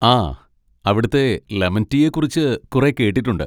ആ, അവിടുത്തെ ലെമൺ റ്റീയെ കുറിച്ച് കുറെ കേട്ടിട്ടുണ്ട്.